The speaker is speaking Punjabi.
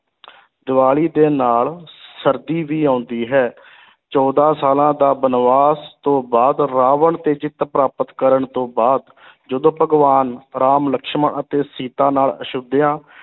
ਦੀਵਾਲੀ ਦੇ ਨਾਲ ਸਰਦੀ ਵੀ ਆਉਂਦੀ ਹੈ ਚੌਦਾਂ ਸਾਲਾਂ ਦਾ ਬਨਵਾਸ ਤੋਂ ਬਾਅਦ ਰਾਵਣ 'ਤੇ ਜਿੱਤ ਪ੍ਰਾਪਤ ਕਰਨ ਤੋਂ ਬਾਅਦ ਜਦੋਂ ਭਗਵਾਨ ਰਾਮ ਲਕਸ਼ਮਣ ਅਤੇ ਸੀਤਾ ਨਾਲ ਅਯੋਧਿਆ